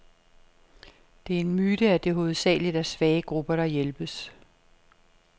Det er en myte, at det hovedsageligt er svage grupper, der hjælpes.